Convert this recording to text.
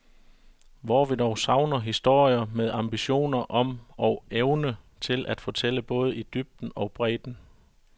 Hvor vi dog savner historier med ambitioner om og evne til at fortælle både i dybden og bredden.